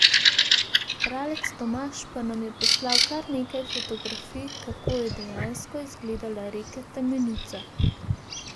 Bralec Tomaž pa nam je poslal kar nekaj fotografij, kako je dejansko izgledala reka Temenica.